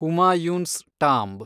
Humayun's tomb